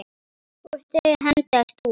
Og þau hendast út.